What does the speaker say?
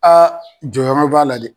A jɔyɔrɔ b'a la dɛ.